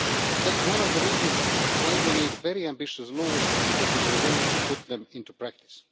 That is one of the reasons why we need very ambitious laws and the political will to put them into practice.